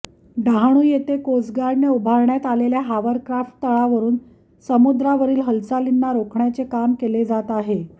डहाणू येथे कोस्टगार्डने उभारण्यात आलेल्या हावरक्राफ्ट तळावरून समुद्रावरील हालचालींना रोखण्याचे काम केले जात आहे